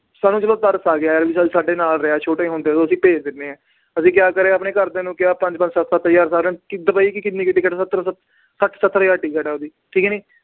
ਸਾਨੂੰ ਤਰਸ ਆ ਗਿਆ ਯਾਰ ਵੀ ਸਾਡੇ ਨਾਲ ਰਿਹਾ ਛੋਟੇ ਹੁੰਦੇ ਤੋਂ ਅਸੀਂ ਭੇਜ ਦਿੰਦੇ ਹਾਂ ਅਸੀਂ ਕਿਆ ਕਰਿਆ ਆਪਣੇ ਘਰਦਿਆਂ ਨੂੰ ਕਿਹਾ ਪੰਜ ਪੰਜ ਸੱਤ ਸੱਤ ਹਜ਼ਾਰ ਸਾਰਿਆਂ ਨੇ ਕਿ ਦੁਬਈ ਕੀ ਕਿੰਨੀ ਕੁ ਟਿਕਟ ਸੱਠ ਸੱਤਰ ਹਜ਼ਾਰ ਟਿੱਕਟ ਹੈ ਉਹਦੀ ਠੀਕ ਹੈ ਨੀ